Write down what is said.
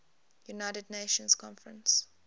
united nations conference